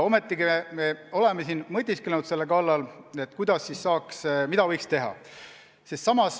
Siiski me oleme mõtisklenud selle üle, mida võiks teha.